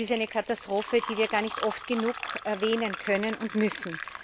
Das ist eine Katastrophe, die wir gar nicht oft genug erwähnen können und müssen.